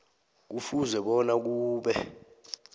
kufuze bona kube